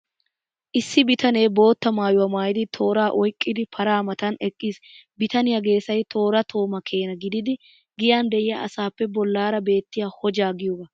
Issi bitanee bootta maayuwaa maayidi, tooraa oyqqidi, paraa matan eqqiis. Bitaniyaa geesay toora tooma keena gididi, giyan de'iyaa asaappe bollaara beettiya hojjaa giyooga.